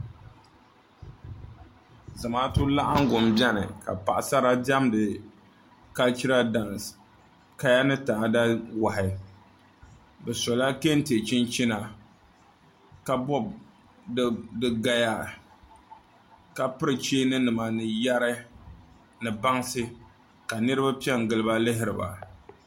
Zamaatu laɣangu n biɛni ka paɣasara diɛmdi kalchiral daans kaya ni taada wahi bi sola kɛntɛ chinchina ka bob di gaya ka piri cheeni nima ni yɛri ni bansi ka niraba piɛ n giliba lihiriba